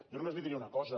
jo només li diré una cosa